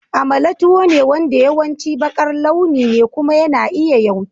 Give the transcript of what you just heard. Amala tuwo ne wanda yawanci baƙar launi ne kuma yana iya yawki.